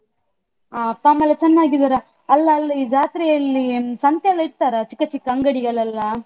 ಅಹ್ ಅಪ್ಪ ಅಮ್ಮ ಎಲ್ಲ ಚೆನ್ನಾಗಿದ್ದಾರ. ಅಲ್ಲ ಅಲ್ಲಿ ಜಾತ್ರೆಯಲ್ಲಿ ಸಂತೆ ಎಲ್ಲ ಇರ್ತರಾ ಚಿಕ್ಕ ಚಿಕ್ಕ ಅಂಗಡಿಗಳೆಲ್ಲಾ?